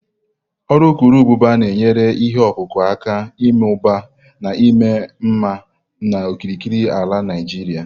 urukurubụba na-enyere ihe ọkụkụ aka ịmụba na ịma mma n'okirikiri ala Naijiria.